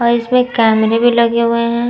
और इस पे कैमरे भी लगे हुए हैं।